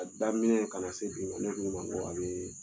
A daminɛ kana na se bi ma ne ko i ma n ko a bɛ